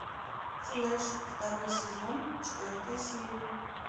флэш второй сезон четвертая серия